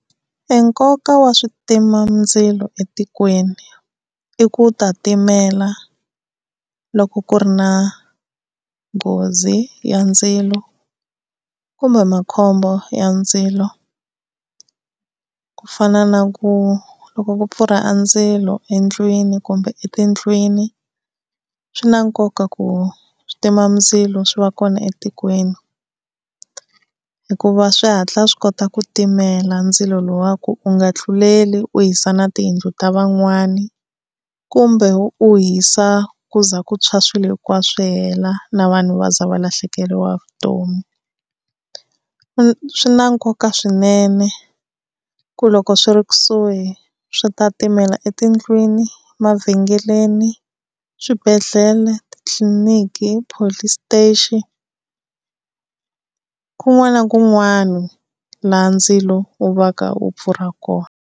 E nkoka wa switimandzilo etikweni i ku ta timela loko ku ri na nghozi ya ndzilo kumbe makhombo ya ndzilo, ku fana na ku loko ku pfurha a ndzilo endlwini kumbe etindlwini swi na nkoka ku switimandzilo swi va kona etikweni. Hikuva swi hatla swi kota ku timela ndzilo lowuya ku u nga tluleli u hisa na tiyindlu ta van'wani. Kumbe u hisa ku ze ku tshwa swilo hinkwaswo swi hela, na vanhu va za va lahlekeriwa hi vutomi. Swi na nkoka swinene ku loko swi ri kusuhi swi ta timela etindlwini, mavhengeleni, swibedhlele, titliliniki, police station, kun'wana na kun'wana laha ndzilo wu va ka wu pfurha kona.